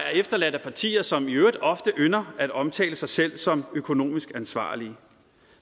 er efterladt af partier som i øvrigt ofte ynder at omtale sig selv som økonomisk ansvarlige